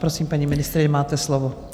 Prosím, paní ministryně, máte slovo.